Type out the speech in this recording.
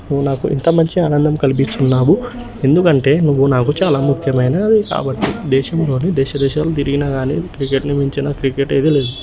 నువ్వు నాకు ఇంత మంచి ఆనందం కల్పిస్తున్నా వు ఎందుకంటే నువ్వు నాకు దేశంలోనే దేశ దేశాలు తిరిగిన గానే క్రికెట్ మించిన క్రికెట్ అయితే లేదు.